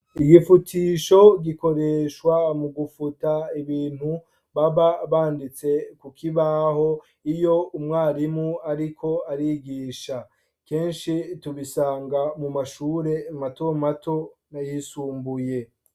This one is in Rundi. Igifutisho gikoreshwa mu gufuta ibintu baba banditse ku kibaho iyo umwarimu ariko arigisha kenshi tubisanga mu mashure mato mato nayisumbuye.